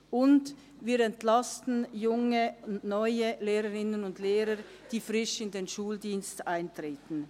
Zudem entlasten wir junge und neue Lehrerinnen und Lehrer, die frisch in den Schuldienst eintreten.